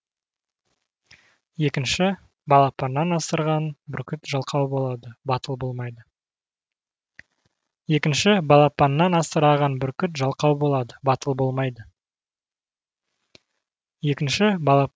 екінші балапаннан асыраған бүркіт жалқау болады батыл болмайды